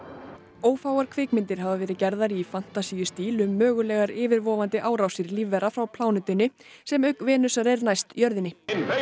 ófáar kvikmyndir hafa verið gerðar í fantasíustíl um mögulegar yfirvofandi innrásir lífvera frá plánetunni sem auk Venusar er næst jörðinni